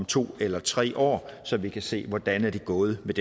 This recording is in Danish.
to eller tre år så vi kan se hvordan det er gået med